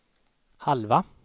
halva